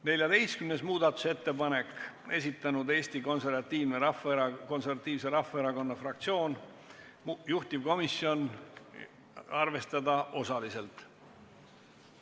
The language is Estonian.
14. muudatusettepaneku on esitanud Eesti Konservatiivse Rahvaerakonna fraktsioon, juhtivkomisjoni otsus on arvestada seda osaliselt.